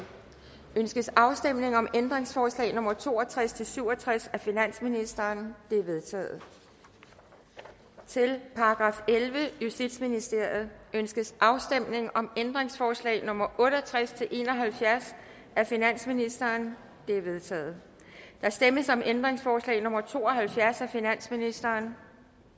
ønskes afstemning om ændringsforslag nummer to og tres til syv og tres af finansministeren de er vedtaget til § ellevte justitsministeriet ønskes afstemning om ændringsforslag nummer otte og tres til en og halvfjerds af finansministeren de er vedtaget der stemmes om ændringsforslag nummer to og halvfjerds af finansministeren